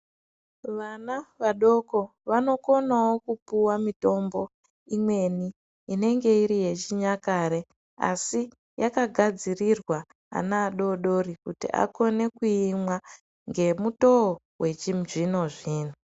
Vana vadoko vanokonawo kupuwa mitombo imweni inenge iri yechinyakare asi yakagadzirirwa ana adodori kuti akone kuimwa ngemutoo yachizvino zvino